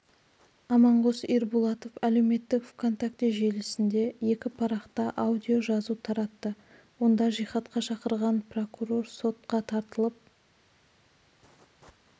аманғос ирбулатов әлеуметтік онтакте желісінде екі парақта аудио жазу таратты онда жихадқа шақырған прокурор сотқа тартылып